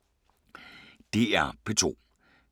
DR P2